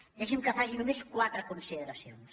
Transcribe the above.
deixi’m que faci només quatre consideracions